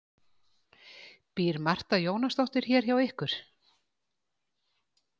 Býr Marta Jónasdóttir hér hjá ykkur?